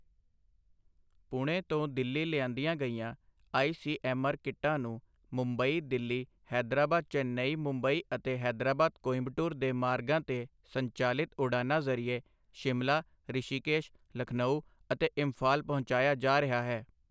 ਪੁਣੇ ਤੋਂ ਦਿੱਲੀ ਲਿਆਂਦੀਆਂ ਗਈਆਂ ਆਈਸੀਐੱਮਆਰ ਕਿੱਟਾਂ ਨੂੰ ਮੁੰਬਈ ਦਿੱਲੀ ਹੈਦਰਾਬਾਦ ਚੇਨਈ ਮੁੰਬਈ ਅਤੇ ਹੈਦਰਾਬਾਦ ਕੋਇੰਬਟੂਰ ਦੇ ਮਾਰਗਾਂ ਤੇ ਸੰਚਾਲਿਤ ਉਡਾਨਾਂ ਜ਼ਰੀਏ ਸ਼ਿਮਲਾ, ਰਿਸ਼ੀਕੇਸ਼, ਲਖਨਊ ਅਤੇ ਇੰਫਾਲ ਪਹੁੰਚਾਇਆ ਜਾ ਰਿਹਾ ਹੈ।